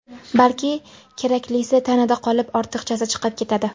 Balki, keraklisi tanada qolib, ortiqchasi chiqib ketadi.